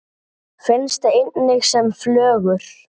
Finnst einnig sem flögur.